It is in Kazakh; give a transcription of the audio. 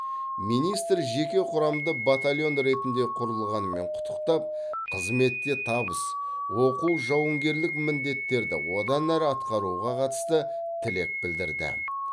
министр жеке құрамды батальон ретінде құрылғанымен құттықтап қызметте табыс оқу жауынгерлік міндеттерді одан әрі атқаруға қатысты тілек білдірді